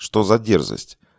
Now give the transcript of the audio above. что за дерзость